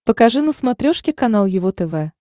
покажи на смотрешке канал его тв